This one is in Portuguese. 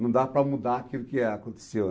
Não dá para mudar aquilo que aconteceu.